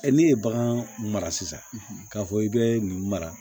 ne ye bagan mara sisan k'a fɔ i bɛ nin mara